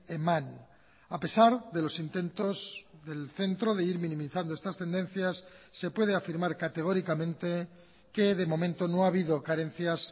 eman a pesar de los intentos del centro de ir minimizando estas tendencias se puede afirmar categóricamente que de momento no ha habido carencias